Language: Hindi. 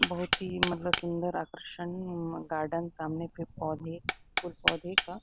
बहुत ही मतलब सुंन्दर आकर्षण गार्डन सामने पेड़ -पौधे और पौधे का --